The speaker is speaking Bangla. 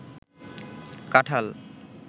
কাঠাল